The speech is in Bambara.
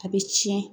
A bɛ tiɲɛ